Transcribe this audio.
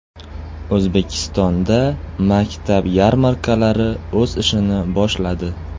O‘zbekistonda maktab yarmarkalari o‘z ishini boshladi.